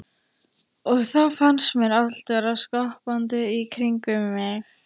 Og þá fannst mér allt vera skoppandi í kringum mig.